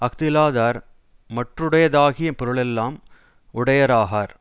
அஃதிலாதார் மற்றுடையதாகிய பொருளெல்லாம் உடையராகார்